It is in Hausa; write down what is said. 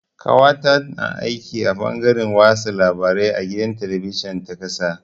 Ƙawata na aiki a fangaren watsa labarai a gidan talabijin ta ƙasa.